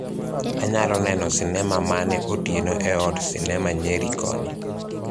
anyalo neno sinema mane otieno e od sinema nyeri koni